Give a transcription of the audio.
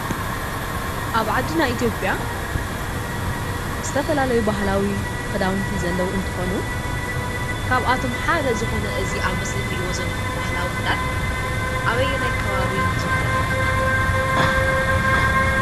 ኣብ ዓድና ኢትዮጵያ ዝተፈላለዩ ባህላዊ ክዳውንቲ ዘለዉ እንትኾኑ ካብኣቶም ሓደ ዝኾነ እዚ ኣብ ምስሊ ትሪእዎ ዘለኹም ባህላዊ ክዳን ኣበየናይ ከባቢ ይዝውተር?